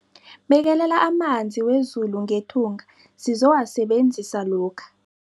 Bekelela amanzi wezulu ngethunga sizowasebenzisa lokha.